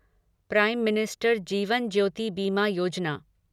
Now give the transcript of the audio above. prime minister Jeevan Jyoti Bima Yojana